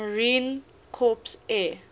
marine corps air